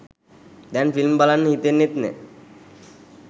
දැන් ෆිල්ම් බලන්න හිතෙන්නෙත් නෑ.